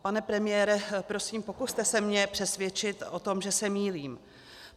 Pane premiére, prosím, pokuste se mě přesvědčit o tom, že se mýlím.